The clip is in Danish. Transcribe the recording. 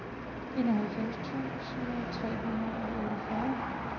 enoghalvfems tusind tre hundrede og otteogfyrre